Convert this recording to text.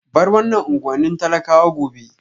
Bar wannan unguwannin talakawa gobe